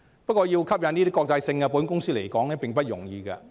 然而，要吸引國際保險公司來港並非易事。